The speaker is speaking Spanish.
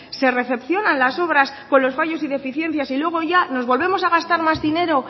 se recepcionan las obras con los fallos y deficiencias y luego ya nos volvemos a gastar más dinero